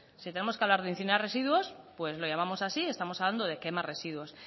si tenemos que hablar de incinerar residuos pues lo llamamos así estamos hablando de quema residuos